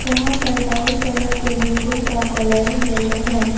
यहां पर बाई तरफ के बिल्डिंग का कलर येलो है।